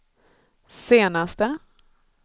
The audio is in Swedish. senaste